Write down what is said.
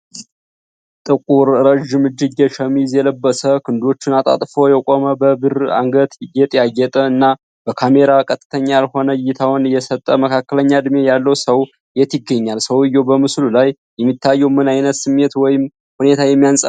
ጥቁር ረጅም እጅጌ ሸሚዝ የለበሰ፣ ክንዶቹን አጣጥፎ የቆመ፣ በብር አንገት ጌጥ ያጌጠ፣ እና በካሜራ ቀጥተኛ ያልሆነ እይታውን የሰጠ መካከለኛ እድሜ ያለው ሰው የት ይገኛል፡፡ ሰውዬው በምስሉ ላይ የሚታየው ምን ዓይነት ስሜት ወይም ሁኔታ የሚያንፀባርቅ ይመስላል?